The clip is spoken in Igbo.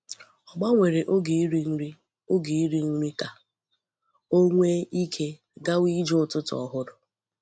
Ọ gbanwere oge iri nri oge iri nri ka o nwee ike gawa ije ụtụtụ ọhụrụ.